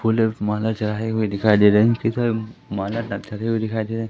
full माला चढ़ाए हुए दिखाई दे रहे दिखाई दे रहे--